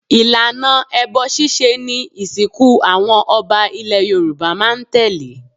Ìlànà ẹbọ ṣíṣe ni ìsìnkú àwọn ọba ilẹ̀ Yorùbá máa ń tẹ̀lé.